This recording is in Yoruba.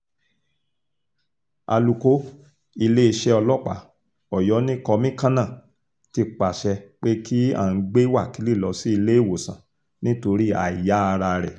alūkó iléeṣẹ́ ọlọ́pàá ọyọ́ ni kọ́míkànnà ti pàṣẹ pé kí aán gbé wákílì lọ sí iléewòsàn nítorí àìyá ara rẹ̀